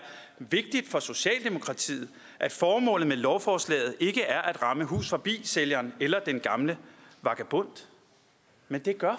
vigtigt for socialdemokratiet at formålet med lovforslaget ikke er at ramme hus forbi sælgeren eller den gamle vagabond men det gør